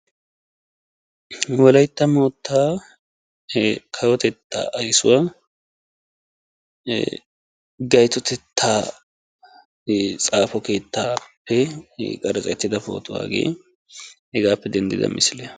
Wolaytta mottaa kawotettaa ayssuwaa ee gaytotettaa e xaafo keettaappe qaratsettidaba pootuwa hagee hegaappe denddida misiliyaa.